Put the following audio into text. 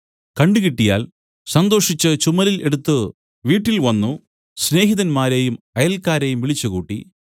കണ്ട് കിട്ടിയാൽ സന്തോഷിച്ച് ചുമലിൽ എടുത്തു വീട്ടിൽ വന്നു സ്നേഹിതന്മാരെയും അയൽക്കാരെയും വിളിച്ചുകൂട്ടി